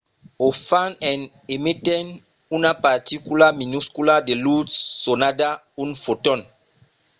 o fan en emetent una particula minuscula de lutz sonada un foton